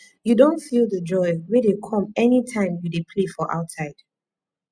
you don feel di joy wey dey come any time you dey play for outside